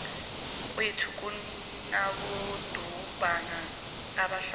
kwethu kunabodumbana abahlanu